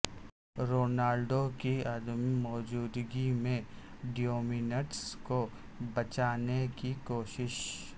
Ronaldo کی عدم موجودگی میں ڈیومینٹس کو بچانے کی کوشش